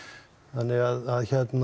þannig að